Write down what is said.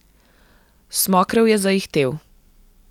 Smokrev je zaihtel.